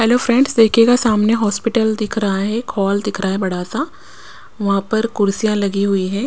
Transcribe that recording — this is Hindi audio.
हेलो फ्रेंड्स देखिएगा सामने हॉस्पिटल दिख रहा है एक हॉल दिख रहा है बड़ा सा वहाँ पर कुर्सियाँ लगी हुई हैं।